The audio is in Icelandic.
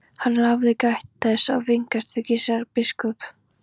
Hann hafði gætt þess að vingast við Gizur biskup.